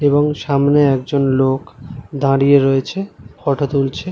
এবং সামনে একজন লোক দাঁড়িয়ে রয়েছে ফটো তুলছে ।